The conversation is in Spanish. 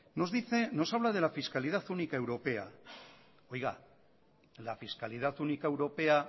nos habla de la fiscalidad única europea oiga a fiscalidad única europea